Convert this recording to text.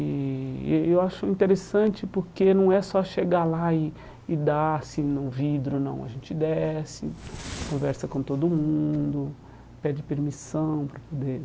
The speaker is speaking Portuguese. E eh e eu acho interessante porque não é só chegar lá e e dar assim no vidro, não, a gente desce, conversa com todo mundo, pede permissão para poder